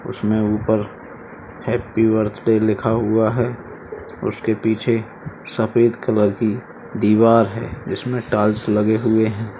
उसमें ऊपर happy birthday लिखा हुआ है। उसके पीछे सफ़ेद कलर की दीवार है जिसमें टाइल्स लगे हुए हैं।